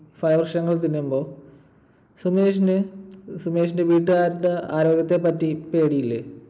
തിന്നുമ്പോൾ സുമേഷിന് ~ സുമേഷിന്റെ വീട്ടുകാരുടെ ആരോഗ്യത്തെ പറ്റി പേടിയില്ലേ?